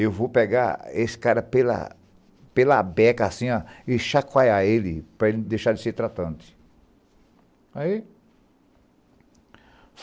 Eu vou pegar esse cara pela pela beca assim ó, e chacoalhar ele para ele deixar de ser tratante.